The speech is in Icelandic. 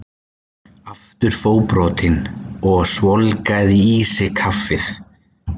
Aftur fótbrotinn og svolgraði í sig kaffið.